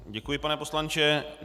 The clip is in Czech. Děkuji, pane poslanče.